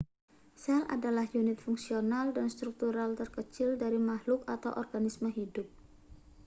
sel adalah unit fungsional dan struktural terkecil dari makhluk organisme hidup